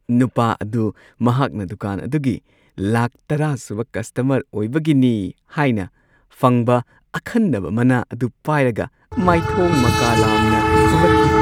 ꯅꯨꯄꯥ ꯑꯗꯨ ꯃꯍꯥꯛꯅ ꯗꯨꯀꯥꯟ ꯑꯗꯨꯒꯤ ꯂꯥꯈ ꯱꯰ ꯁꯨꯕ ꯀꯁꯇꯃꯔ ꯑꯣꯏꯕꯒꯤꯅꯤ ꯍꯥꯏꯅ ꯐꯪꯕ ꯑꯈꯟꯅꯕ ꯃꯅꯥ ꯑꯗꯨ ꯄꯥꯏꯔꯒ ꯃꯥꯏꯊꯣꯡ ꯃꯀꯥ ꯂꯥꯝꯅ ꯊꯣꯛꯂꯛꯈꯤ ꯫